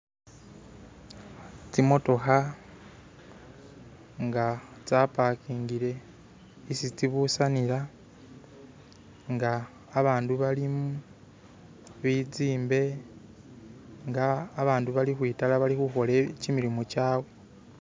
tsimotokha nga tsa pakingile isi tsibusanila nga abandu balimu bitsimbe nga abandu bali khukhwitala bali khuhola kyimilimu kyawe